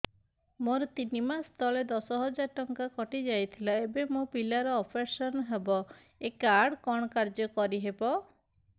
ମୋର ତିନି ମାସ ତଳେ ଦଶ ହଜାର ଟଙ୍କା କଟି ଯାଇଥିଲା ଏବେ ମୋ ପିଲା ର ଅପେରସନ ହବ ଏ କାର୍ଡ କଣ କାର୍ଯ୍ୟ କାରି ହବ